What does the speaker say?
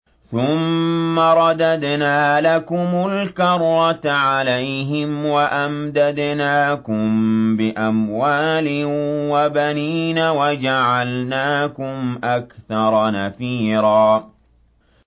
ثُمَّ رَدَدْنَا لَكُمُ الْكَرَّةَ عَلَيْهِمْ وَأَمْدَدْنَاكُم بِأَمْوَالٍ وَبَنِينَ وَجَعَلْنَاكُمْ أَكْثَرَ نَفِيرًا